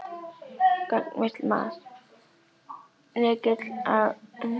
Gagnvirkt mat: Lykill að auknum gæðum í skólastarfi?